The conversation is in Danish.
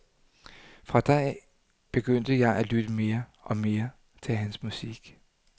Fra da begyndte jeg at lytte mere og mere til hans musik.